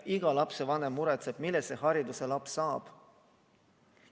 Iga lapsevanem muretseb, millise hariduse tema laps saab.